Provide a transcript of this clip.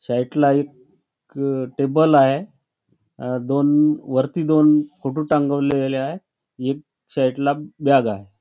Site ला एक table आहे अ दोन वरती दोन फोटो टांगवलेले आहे एक साइट ला एक बॅग आहे.